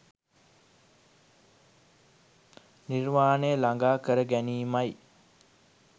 නිර්වාණය ළඟා කර ගැනීමයි